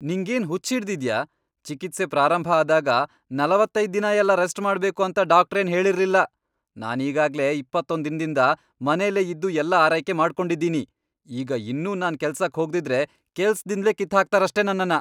ನಿಂಗೇನ್ ಹುಚ್ಚ್ ಹಿಡ್ದಿದ್ಯಾ? ಚಿಕಿತ್ಸೆ ಪ್ರಾರಂಭ ಆದಾಗ ನಲವತ್ತೈದ್ ದಿನಯೆಲ್ಲ ರೆಸ್ಟ್ ಮಾಡ್ಬೇಕು ಅಂತ ಡಾಕ್ಟ್ರೇನ್ ಹೇಳಿರ್ಲಿಲ್ಲ. ನಾನೀಗಾಗ್ಲೇ ಇಪ್ಪತ್ತೊಂದ್ ದಿನದಿಂದ ಮನೆಲೇ ಇದ್ದು ಎಲ್ಲ ಆರೈಕೆ ಮಾಡ್ಕೊಂಡಿದೀನಿ, ಈಗ ಇನ್ನೂ ನಾನ್ ಕೆಲ್ಸಕ್ ಹೋಗ್ದಿದ್ರೆ ಕೆಲ್ಸ್ದಿಂದ್ಲೇ ಕಿತ್ಹಾಕ್ತಾರಷ್ಟೇ ನನ್ನನ್ನ.